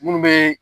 Minnu bɛ